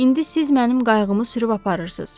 İndi siz mənim qayğımı sürüb aparırsız.